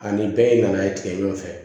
Ani bɛɛ in nana ye tigɛ ɲɔgɔn fɛ